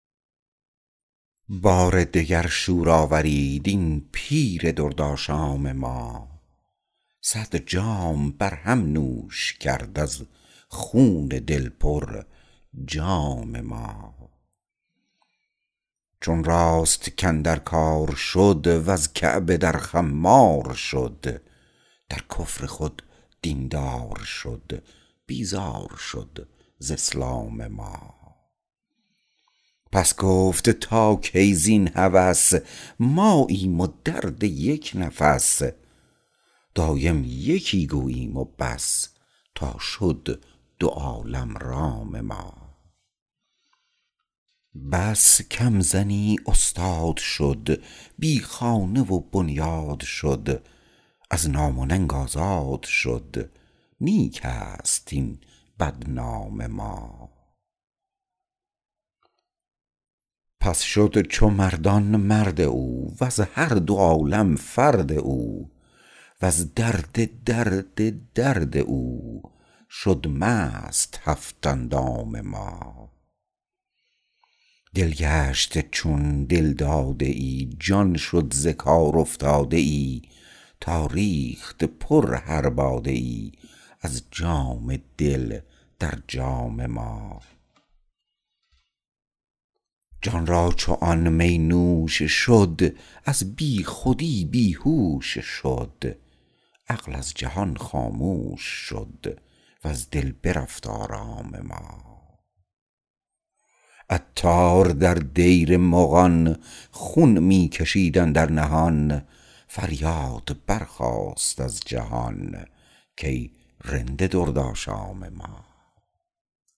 بار دگر شور آفرید این پیر درد آشام ما صد جام برهم نوش کرد از خون دل پر جام ما چون راست کاندر کار شد وز کعبه در خمار شد در کفر خود دین دار شد بیزار شد ز اسلام ما پس گفت تا کی زین هوس ماییم و درد یک نفس دایم یکی گوییم وبس تا شد دو عالم رام ما بس کم زنی استاد شد بی خانه و بنیاد شد از نام و ننگ آزاد شد نیک است این بدنام ما پس شد چو مردان مرد او وز هر دو عالم فرد او وز درد درد درد او شد مست هفت اندام ما دل گشت چون دلداده ای جان شد ز کار افتاده ای تا ریخت پر هر باده ای از جام دل در جام ما جان را چون آن می نوش شد از بی خودی بیهوش شد عقل از جهان خاموش شد و از دل برفت آرام ما عطار در دیر مغان خون می کشید اندر نهان فریاد برخاست از جهان کای رند درد آشام ما